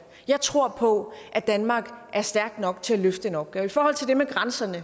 jeg tror på at danmark er stærk nok til at løfte den opgave i forhold til det med grænserne